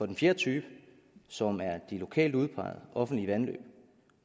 den fjerde type som er de lokalt udpegede offentlige vandløb